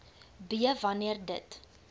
b wanneer dit